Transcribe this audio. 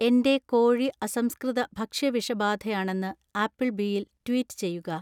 എന്‍റെ കോഴി അസംസ്‌കൃത ഭക്ഷ്യവിഷബാധയാണെന്ന് ആപ്പിൾബീയിൽ ട്വീറ്റ് ചെയ്യുക